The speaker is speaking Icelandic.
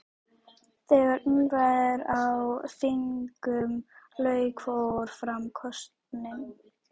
Þegar umræðum á þinginu lauk fór fram kosning.